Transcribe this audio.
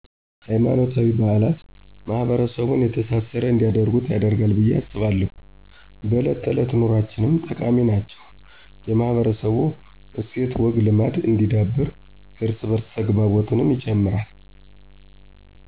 ሀይማኖታዊ በአላት ማሕበረሰቡን የተሳሰረ እንዲያደርጉት ያደርጋል ብየ አስባለሁ። በእለት ተዕለት ኑኖአችንም ጠቃሚ ናቸው የማህበረሰቡ እስትዐወግዐልማድ እንዲዳብር የእርስ በዕርስ ተግባቦትንም ይጨምራል።